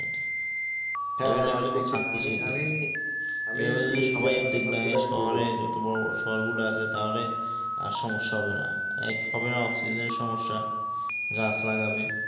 শহরের বড়ো বড়ো শহর গুলো আছে তাহলে আর সমস্যা হবে না এক হবে না oxygen এর সমস্যা গাছ লাগবে